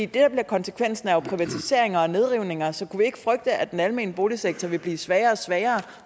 der bliver konsekvensen er jo privatiseringer og nedrivninger så kunne vi ikke frygte at den almene boligsektor vil blive svagere og svagere